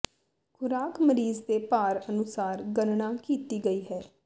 ਖੁਰਾਕ ਮਰੀਜ਼ ਦੇ ਭਾਰ ਅਨੁਸਾਰ ਗਣਨਾ ਕੀਤੀ ਗਈ ਹੈ